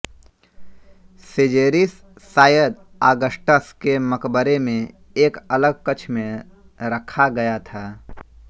सिजेरिस शायद ऑगस्टस के मकबरे में एक अलग कक्ष में रखा गया था